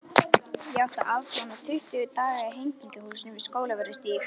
Ég átti að afplána tuttugu daga í Hegningarhúsinu við Skólavörðustíg.